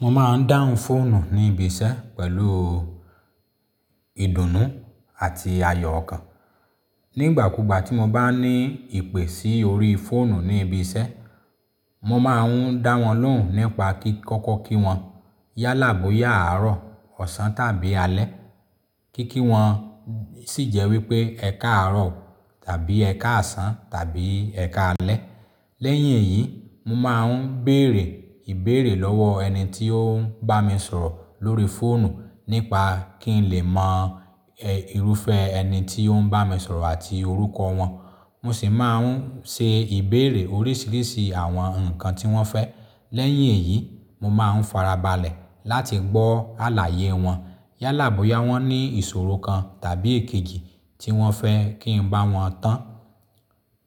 Mo máa ń dáhùn fóònù ní ibi iṣẹ́ pẹ̀lú ìdùnnú àti ayọ̀ ọkàn. Nígbà kúgbà tí mo bá ní ìpè sí orí fóònù ní ibi iṣẹ́, mo máa ń dáwọn lóhùn nípa kí kọ́kọ́ kí wọn yálàá bóyá àárọ̀, ọ̀sán tàbí alẹ́. Kíkí wọn sì jẹ́ wípé "ẹ káàárọ̀" tàbí "ẹ káàsán" tàbí "ẹ káalẹ́". Lẹ́yìn èyí, mo máa ń béèrè ìbéèrè lọ́wọ́ ẹni tí ó ń bá mi sọ̀rọ̀ lóri fóònù nípa kín lè mọ irúfẹ́ ẹni tí ó ń bá mi sọ̀rọ̀ àti orúkọ wọn. Mo sì máa ń ṣe ìbéèrè oríṣiríṣi àwọn ǹkan tí wọ́n fẹ́. Lẹ́yìn èyí, mo máa ń farabalẹ̀ láti gbọ́ àlàyé wọn yálàá bóyá wọ́n ní ìṣòro kan tàbí èkejì tí wọ́n fẹ́ kí n bá wọn tán.